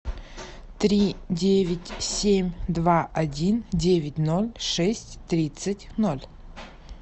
три девять семь два один девять ноль шесть тридцать ноль